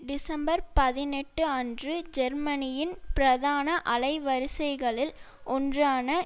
December பதினெட்டு அன்று ஜெர்மனியின் பிரதான அலைவரிசைகளில் ஒன்றான